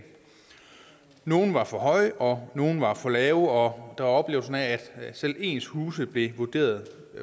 nogle var for høje og nogle var for lave og der oplevelse af at selv ens huse blev vurderet